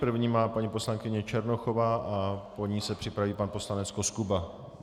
První má paní poslankyně Černochová a po ní se připraví pan poslanec Koskuba.